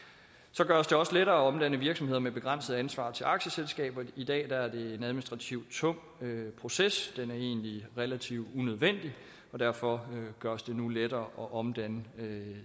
så gøres det også lettere at omdanne virksomheder med begrænset ansvar til aktieselskaber i dag er det en administrativt tung proces den er egentlig relativt unødvendig og derfor gøres det nu lettere at omdanne